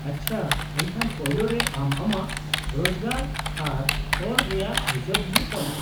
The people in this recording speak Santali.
-ᱟᱪᱪᱷᱟ, ᱮᱱᱠᱷᱟᱱ ᱯᱳᱭᱞᱳ ᱨᱮ ᱟᱢ ᱟᱢᱟᱜ ᱨᱚᱡᱠᱟᱨ ᱟᱨ ᱠᱚᱨ ᱨᱮᱭᱟᱜ ᱦᱤᱥᱟᱹᱵ ᱦᱩᱭᱩᱜ ᱛᱟᱢᱟ ᱾